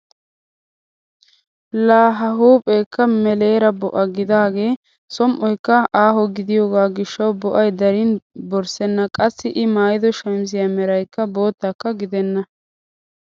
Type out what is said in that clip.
Laa a huuphpheekka meleera bo'a gididaagee som"oykka aaho gidiyoo gishshawu bo'ay darin borssena! Qassi i maayido shamisiyaa meraykka boottakka gidenna!